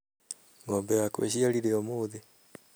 Ng'ombe yakwa ĩciarire ũmũthĩ